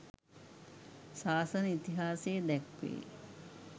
ශාසන ඉතිහාසයේ දැක්වේ.